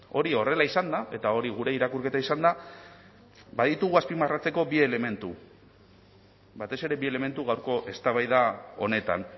hori horrela izanda eta hori gure irakurketa izanda baditugu azpimarratzeko bi elementu batez ere bi elementu gaurko eztabaida honetan